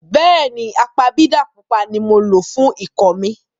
Bẹ́ẹ̀ni, apabidà pupa ni mo lo fún ikọ́ mi.